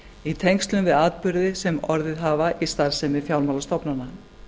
í tengslum við atburði sem orðið hafa í starfsemi fjármálastofnana